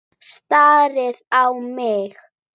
Starir á mig.